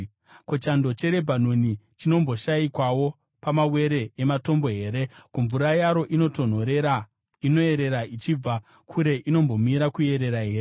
Ko, chando cheRebhanoni chinomboshayikwawo pamawere ematombo here? Ko, mvura yaro inotonhorera inoyerera ichibva kure inombomira kuyerera here?